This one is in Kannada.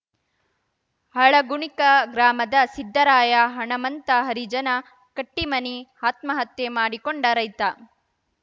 ಹಳಗುಣಿಕ ಗ್ರಾಮದ ಸಿದರಾಯ ಹಣಮಂತ ಹರಿಜನ ಕಟ್ಟಿಮನಿ ಆತ್ಮಹತ್ಯೆ ಮಾಡಿಕೊಂಡ ರೈತ